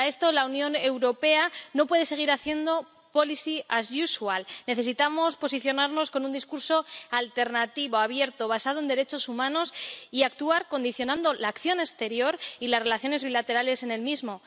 Frente a esto, la Unión Europea no puede seguir haciendo Necesitamos posicionarnos con un discurso alternativo, abierto, basado en derechos humanos y actuar condicionando la acción exterior y las relaciones bilaterales en el mismo.